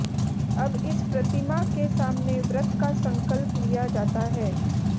अब इस प्रतिमा के सामने व्रत का संकल्प लिया जाता है